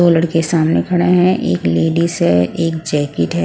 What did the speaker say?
दो लड़के सामने खड़े हैं एक लेडीज है एक जैकेट है ।